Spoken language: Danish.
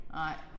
Nej